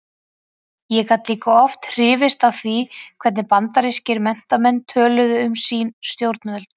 Ég gat líka oft hrifist af því hvernig bandarískir menntamenn töluðu um sín stjórnvöld.